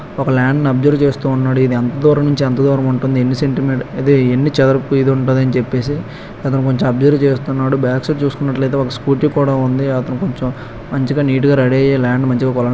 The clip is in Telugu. ఒక ల్యాండ్ ని అబ్జర్వ్ చేస్తున్నాడు ఇది ఎంత దూరం నుంచి ఎంత దూరం ఉంటుందని సెంటీమీటర్లు ఎన్ని చదరపు మీటర్లు ఉంటుంది అని చెప్పేసి అతను కొంచెం అబ్సర్వ్ చేస్తున్నాడు బ్యాక్ సైడ్ చూసుకున్నట్లయితే ఒక స్కూటి కూడా ఉంది అతను కొంచెం మంచిగా నీట్ గా రెడీ